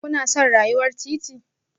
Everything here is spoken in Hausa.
Kuna son rayuwar titi?